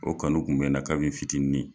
O kanu kun bɛ n na ka bi n fitinin.